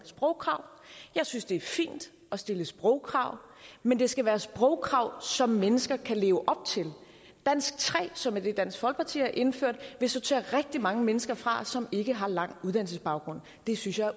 sprogkrav jeg synes det er fint at stille sprogkrav men det skal være sprogkrav som mennesker kan leve op til dansk tre som er det dansk folkeparti har indført vil sortere rigtig mange mennesker fra som ikke har en lang uddannelsesbaggrund det synes jeg